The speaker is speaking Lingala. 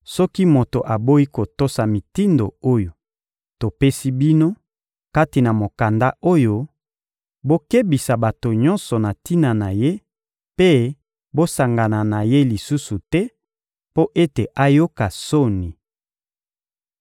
Soki moto aboyi kotosa mitindo oyo topesi bino kati na mokanda oyo, bokebisa bato nyonso na tina na ye mpe bosangana na ye lisusu te mpo ete ayoka soni.